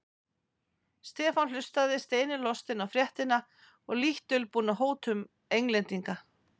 Stefán hlustaði steini lostinn á fréttina og lítt dulbúna hótun Englendinga.